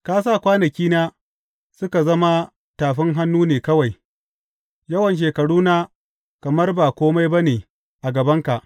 Ka sa kwanakina suka zama tafin hannu ne kawai; yawan shekaruna kamar ba kome ba ne a gabanka.